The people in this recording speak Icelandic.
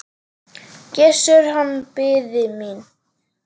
Gissur, hann biði mín.